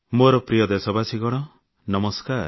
ମୋର ପ୍ରିୟ ଦେଶବାସୀ ନମସ୍କାର